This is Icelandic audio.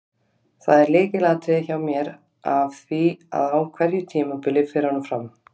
Það er lykilatriði hjá mér af því að á hverju tímabili fer honum fram.